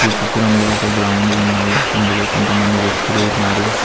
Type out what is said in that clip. ఈ చిత్రంలో ఒక గ్రౌండ్ ఉన్నది అందులో కొంతమంది వ్యక్తులు ఉన్నారు.